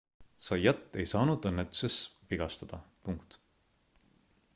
zayat ei saanud õnnetuses vigastada